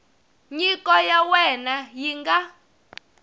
nyiko ya wena yi nga